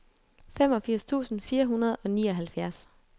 femogfirs tusind fire hundrede og nioghalvfjerds